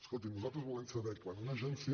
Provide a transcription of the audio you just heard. escolti’m nosaltres volem saber quan una agència